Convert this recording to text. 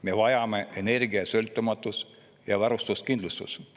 Me vajame energiasõltumatust ja ‑varustuskindlust.